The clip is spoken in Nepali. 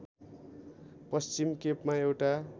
पश्चिम केपमा एउटा